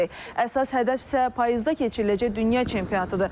Əsas hədəf isə payızda keçiriləcək dünya çempionatıdır.